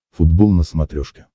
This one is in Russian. футбол на смотрешке